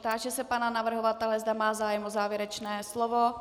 Táži se pana navrhovatele, zda má zájem o závěrečné slovo.